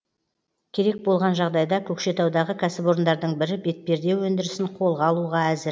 керек болған жағдайда көкшетаудағы кәсіпорындардың бірі бетперде өндірісін қолға алуға әзір